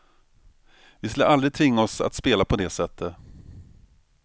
Vi skulle aldrig tvinga oss att spela på det sättet.